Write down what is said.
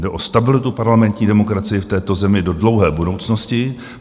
Jde o stabilitu parlamentní demokracie v této zemi do dlouhé budoucnosti.